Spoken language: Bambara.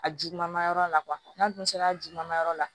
A juguman ma yɔrɔ la n'a dun sera a juguma ma yɔrɔ la